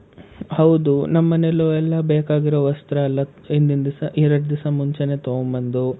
ಹೌದು. ನಮ್ ಮನೇಲೂ ಎಲ್ಲ ಬೇಕಾಗಿರೊ ವಸ್ತ್ರ ಎಲ್ಲ ಹಿಂದಿನ್ ದಿವ್ಸ ಎರಡ್ ದಿವ್ಸ ಮುಂಚೇನೆ ತಗೊಂಡ್ ಬಂದು.